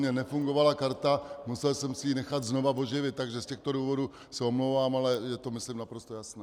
Mně nefungovala karta, musel jsem si ji nechat znovu oživit, takže z těchto důvodů se omlouvám, ale je to, myslím, naprosto jasné.